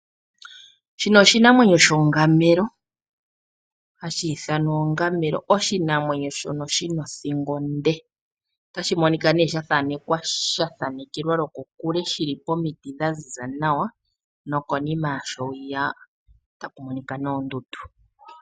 Oshinamwenyo hashi ithanwa onduli. Oshinamwenyo shika oshi na othingo onde. Osha thanekelwa kokule shi li pomiti dha ziza nawa nokonima yasho otaku monika oondundu.